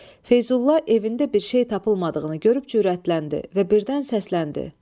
Feyzulla evində bir şey tapılmadığını görüb cürətləndi və birdən səsləndi.